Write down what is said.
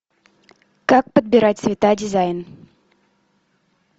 как подбирать цвета дизайн